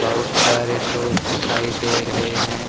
बहुत सारे लोग दिखाई दे रहे हैं।